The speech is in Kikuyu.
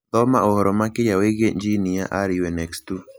Thoma ũhoro makĩria wĩgiĩ jini ya RUNX2.